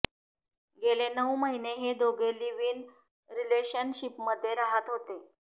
गेले नऊ महिने हे दोघे लिव्ह इन रिलेशनशिपमध्ये राहत होते